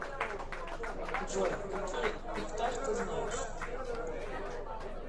джой какие ифтар ты знаешь